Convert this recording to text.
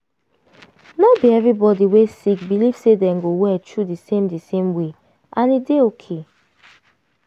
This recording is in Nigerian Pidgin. no be every body wey sick believe say dem go well through di same di same way and e dey okay.